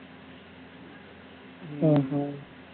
ஹம் ஹம்